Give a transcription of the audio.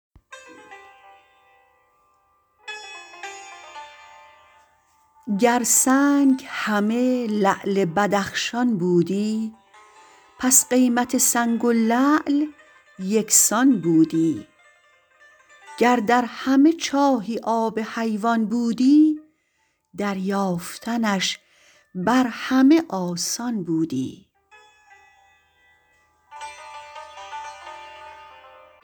گر سنگ همه لعل بدخشان بودی پس قیمت سنگ و لعل یکسان بودی گر در همه چاهی آب حیوان بودی دریافتنش بر همه آسان بودی